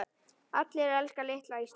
Allir elska litla Ísland.